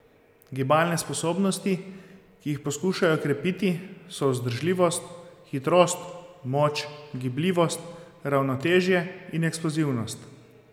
Gibalne sposobnosti, ki jih poskušajo krepiti, so vzdržljivost, hitrost, moč, gibljivost, ravnotežje in eksplozivnost.